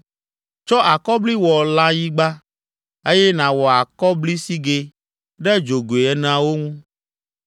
Tsɔ akɔbli wɔ lãyiga, eye nàwɔ akɔblisigɛ ɖe dzogoe eneawo ŋu.